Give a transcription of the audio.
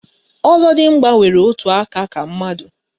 Ọzọdịmgba nwere otu aka ka mmadu